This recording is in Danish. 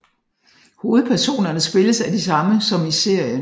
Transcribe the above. Hovedpersonerne spilles af de samme som i serien